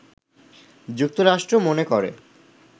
যুক্তরাষ্ট্র মনে করে